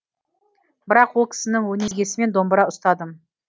бірақ ол кісінің өнегесімен домбыра ұстадым